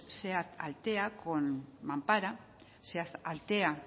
seat altea con mampara seat altea